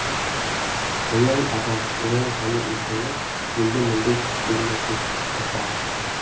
оян аға оян қане ұйқыңнан енді мүндай түс көрмесін ұрпағың